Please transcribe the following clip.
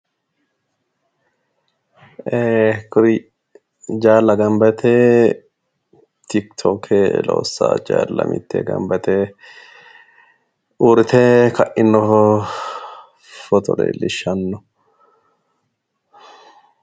ee kuri jaalla ganba yite tikitokke loossa jaalla mittee ganba yite uurrite ka'ino footo leellishshanno.